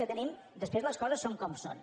que tenim després les coses són com són